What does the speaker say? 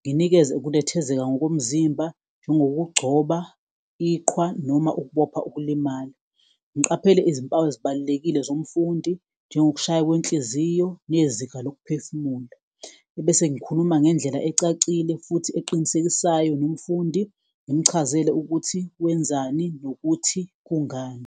nginikeze ukunethezeka ngokomzimba njengokugcoba iqhwa noma ukubopha ukulimala. Ngiqaphele izimpawu ezibalulekile zomfundi njengokushaya kwenhliziyo, nezinga lokuphefumula ebese ngikhuluma ngendlela ecacile futhi eqinisekisayo nomfundi ngimchazele ukuthi wenzani nokuthi kungani.